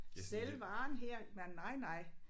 Sælge varen her nej nej nej